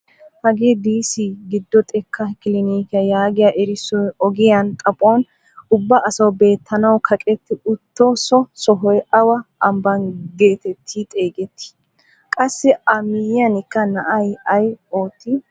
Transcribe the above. Hagee "Disi Giddo xekkaa kilinikiyaa" yaagiyaa erissoy ogiyaa xaphphon ubba asawu beettanawu kaqetti uttiso sohoy awa ambbaa getetti xeegettii? Qassi a miyiyaanikka na'ay ay oottii?